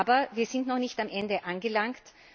Aber wir sind noch nicht am Ende angelangt.